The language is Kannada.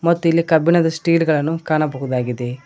ಮತ್ತು ಇಲ್ಲಿ ಕಬ್ಬಿಣದ ಸ್ಟೇಲ್ ಗಳನ್ನು ಕಾಣಬಹುದಾಗಿದೆ.